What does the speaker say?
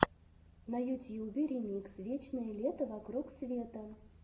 на ютьюбе ремикс вечное лето вокруг света